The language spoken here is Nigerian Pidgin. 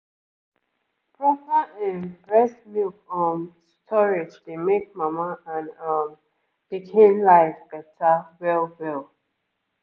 proper ehm breast milk um storage dey make mama and um pikin life beta well well.